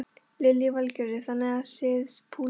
Lillý Valgerður: Þannig að þið púlið í dag?